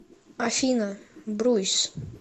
афина бруйс